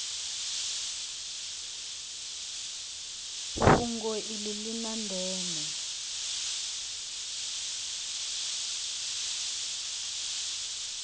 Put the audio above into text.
fhungo iḽi ḽi ḽa ndeme